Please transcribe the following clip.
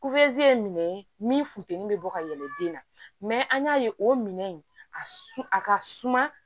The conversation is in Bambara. ye minɛ min funtɛni bɛ bɔ ka yɛlɛ den na mɛ an y'a ye o minɛn in a ka suma